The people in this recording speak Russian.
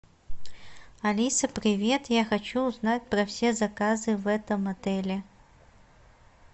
алиса привет я хочу узнать про все заказы в этом отеле